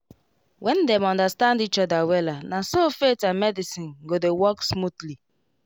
when dem understand each other wella naso faith and medicine go dey work smoothly